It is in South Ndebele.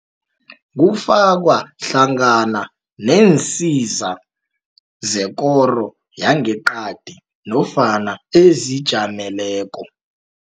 kufakwa hlangana neensiza zekoro yangeqadi nofana ezijameleko.